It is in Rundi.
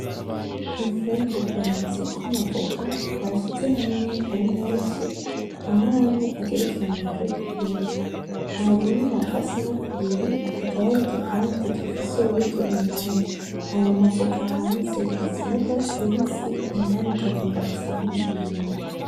Infungurwa zitwa amavoka bashize hamwe ari memshi amwe amwe agerekeranijwe kubindi hari imwe bakasemwo kubiri hakaba hari igipande gifise urubuto indani, ayo mavoka hanze asa n'urwatsi rubisi indani akagomba gusaa nk'umuhondo.